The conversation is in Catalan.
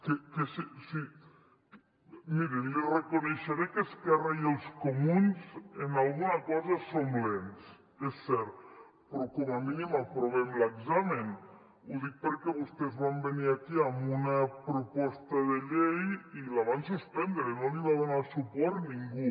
miri li reconeixeré que esquerra i els comuns en alguna cosa som lents és cert però com a mínim aprovem l’examen ho dic perquè vostès van venir aquí amb una proposta de llei i la van suspendre no l’hi va donar suport ningú